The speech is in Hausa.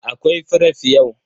Akwai fref yau.